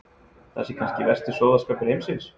Það sé kannski versti sóðaskapur heimsins.